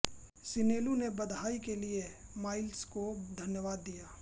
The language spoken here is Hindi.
सिनेलू ने बधाई के लिए माइल्स को धन्यवाद दिया